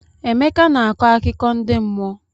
Emeka na-akọ akụkọ ndi mmụọ.